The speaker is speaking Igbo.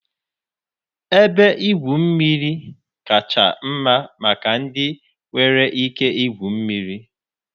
Ebe igwu mmiri kacha mma maka ndị nwere ike igwu mmiri.